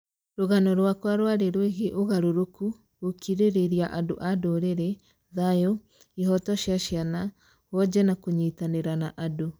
Rũgano rwakwa rwarĩ rwĩgiĩ ũgarũrũku, gũkirĩrĩria andũ a ndũrĩrĩ, thayũ, ihooto cia ciana, wonje na kũnyitanĩra na andũ